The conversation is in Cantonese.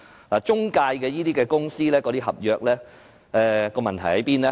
那些中介公司合約的問題何在呢？